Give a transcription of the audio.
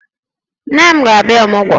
Nne m ga-abịa ọmụgwọ